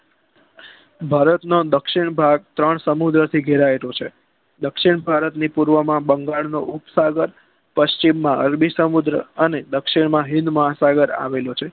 ભારતમાં દક્ષિણ ભાગ ત્રણ સમુદ્ર થી ગેરાયેલુ છે દક્ષિણ ભારત ની પૂર્વ માં બંગાળનો ઉપ સાગર પચિમ માં અરબી સમુદ્ર અને દક્ષિણમાં હિંદ મહાસાગર આવેલું છે